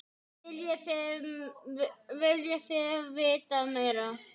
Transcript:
Viljið þið vita meira?